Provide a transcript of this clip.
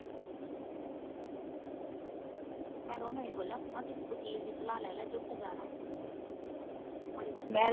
ਮੈਂ ਤਾਂ ਇਹਨੂੰ ਇਹੀ ਬੋਲਿਆ ਮੈਂ ਕਿਹਾ ਕਿਸੇ ਵਕੀਲ ਦੀ ਸਲਾਹ ਲਈ ਲੈ ਜੇ ਉੱਥੇ ਜਾਣਾ ਮੁੜ ਮੁੜ ਕੇ।